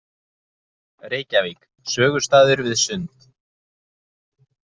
Reykjavík: sögustaður við Sund.